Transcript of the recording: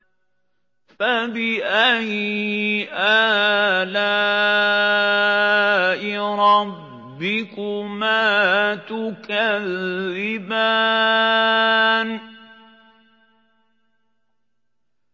فَبِأَيِّ آلَاءِ رَبِّكُمَا تُكَذِّبَانِ